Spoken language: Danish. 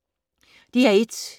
DR1